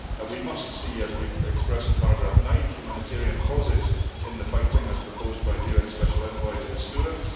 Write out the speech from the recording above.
We must see, as we have expressed in paragraph 9, humanitarian pauses in the fighting as proposed by UN Special Envoy De Mistura.